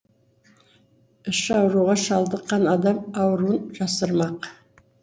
іш ауруға шалдыққан адам ауруын жасырмақ